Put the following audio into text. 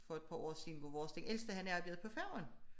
For et par år siden hvor vores den ældste han arbejdede på færgen